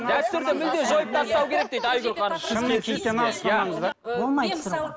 дәстүрді мүлдем жойып тастау керек дейді айгүл ханым